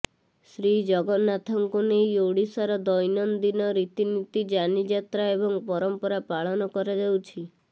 ଶ୍ରୀଜଗନ୍ନାଥଙ୍କୁ ନେଇ ଓଡ଼ିଶାର ଦୈନନ୍ଦିନ ରିତିନୀତି ଯାନିଯାତ୍ରା ଏବଂ ପରମ୍ପରା ପାଳନ କରାଯାଉଛି